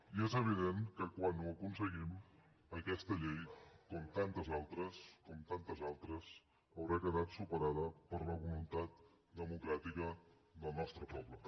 i és evident que quan ho aconseguim aquesta llei com tantes altres com tantes altres haurà quedat superada per la voluntat democràtica del nostre poble